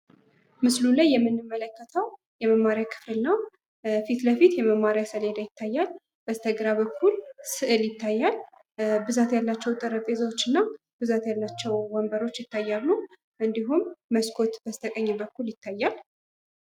ምስሉ ላይ የምንመለከተው የመማሪያ ክፍል ነው። ፊት ለፊት የመማሪያ ሰሌዳ ይታያል። በስተግራ በኩል ስዕል ይታያል። ብዛት ያላቸው ጠረንጴዛዎች እና ብዛት ያላቸው ወንበሮች ይታያሉ እንዲሁም መስኮት በስተቀኝ በኩል ይታያል።